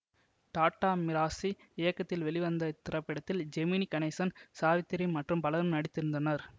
tata Mirasi இயக்கத்தில் வெளிவந்த இத்திரைப்படத்தில் ஜெமினி கணேசன் சாவித்திரி மற்றும் பலரும் நடித்திருந்தனர்